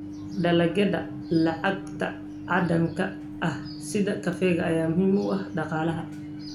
Dalagyada lacagta caddaanka ah sida kafeega ayaa muhiim u ah dhaqaalaha.